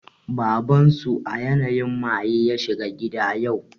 Baban su a yanayin maye ya shigo gida yau